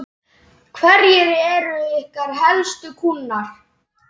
Hverjir eru ykkar helstu kúnnar?